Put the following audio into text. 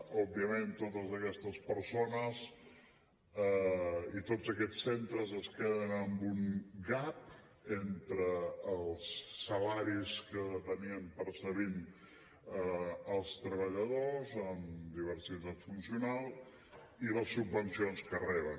òbviament totes aquestes persones i tots aquests centres es queden amb un gap entre els salaris que percebien els treballadors amb diversitat funcional i les subvencions que reben